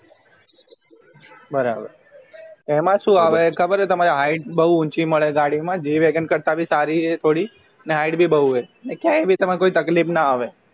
બરાબર એમાં શું આવે ખબર હે તમનેતમારે height બવું ઉંચી મળે ગાડી માં g wagon કરતાં ભી સારી હે થોડી ને height ભી હે ક્યાંય ભી તમે કોઈ તકલીફ ના આવે